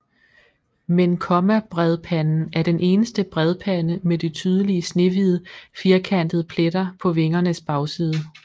Men kommabredpanden er den eneste bredpande med de tydelige snehvide firkantede pletter på vingernes bagside